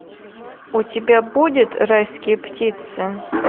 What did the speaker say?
у тебя будет райские птицы